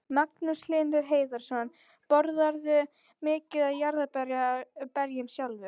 Magnús Hlynur Hreiðarsson: Borðarðu mikið af jarðarberjum sjálfur?